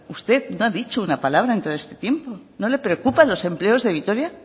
usted no ha dicho una palabra en todo este tiempo no le preocupan los empleos de vitoria